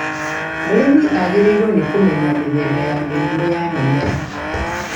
Mũrĩmi agĩrĩirũo nĩ kũmenya mĩthemba ya mĩrimũ ya mĩmera